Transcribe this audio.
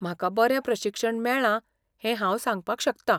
म्हाका बरें प्रशिक्षण मेळ्ळां हे हांव सांगपाक शकता.